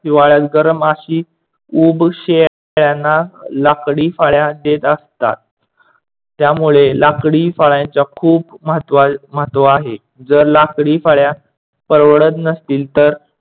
हिवाळ्यात गरम अशी ऊब शेळयांना लाकडी फळ्या देत असतात. ज्यामुळे लाकडी फळयांचे खूप महत्‍त्‍व आहे. जर लाकडी फळ्या परवडत नसतील, तर